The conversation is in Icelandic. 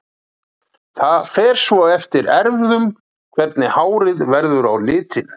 Það fer svo eftir erfðum hvernig hárið verður á litinn.